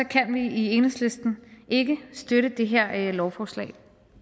kan vi i enhedslisten ikke støtte det her lovforslag